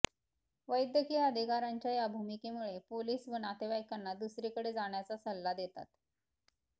वैद्यकीय अधिकाऱ्यांच्या या भूमिकेमुळे पोलीस व नातेवाइकांना दुसरीकडे जाण्याचा सल्ला देतात